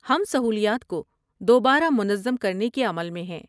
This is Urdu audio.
ہم سہولیات کو دوبارہ منظم کرنے کے عمل میں ہیں۔